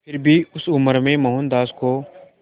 फिर भी उस उम्र में मोहनदास को